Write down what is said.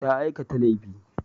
Ta aikata laifi.